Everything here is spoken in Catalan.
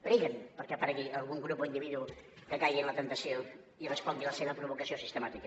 preguen perquè aparegui algun grup o individu que caigui en la temptació i respongui a la seva provocació sistemàtica